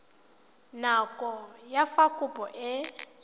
nako ya fa kopo e